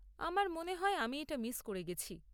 আমার মনে হয় আমি এটা মিস করে গেছি।